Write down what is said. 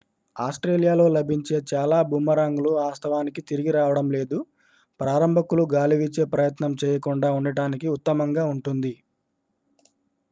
ఆస్ట్రేలియాలో లభించే చాలా బూమరాంగ్ లు వాస్తవానికి తిరిగి రావడం లేదు ప్రారంభకులు గాలివీచే ప్రయత్నం చేయకుండా ఉండటానికి ఉత్తమంగా ఉంటుంది